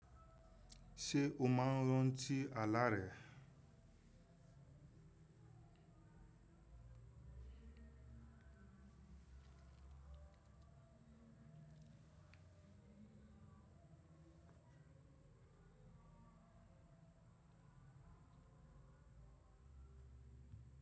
Ṣé o máa ń rantí àlá rẹ?